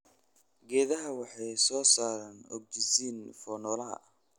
Geedaha waxay soo saaraan ogsijiin for noolaha.